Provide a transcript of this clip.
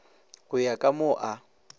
go ya ka mo a